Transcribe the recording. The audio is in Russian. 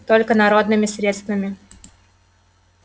только народными средствами